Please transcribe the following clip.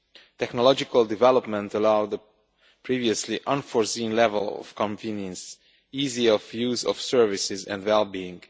Technological development allowed a previously unforeseen level of convenience, ease of use of services and well being.